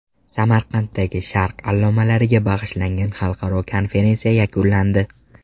Samarqanddagi Sharq allomalariga bag‘ishlangan xalqaro konferensiya yakunlandi.